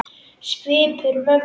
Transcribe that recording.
Svipur mömmu